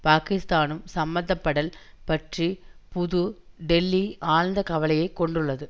பாகிஸ்தானும் சம்பந்தப்படல் பற்றி புது டெல்லி ஆழ்ந்த கவலையை கொண்டுள்ளது